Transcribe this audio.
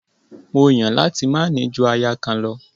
Mó Yàn láti máa ní ju aya kan lọ.